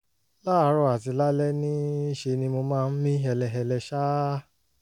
láàárọ̀ àti lálẹ́ ní í ṣe ni mo máa ń mí hẹlẹhẹlẹ ṣáá